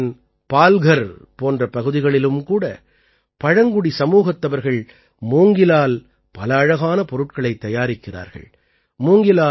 மஹாராஷ்டிரத்தின் பால்கர் போன்ற பகுதிகளிலும் கூட பழங்குடி சமூகத்தவர்கள் மூங்கிலால் பல அழகான பொருட்களைத் தயாரிக்கிறார்கள்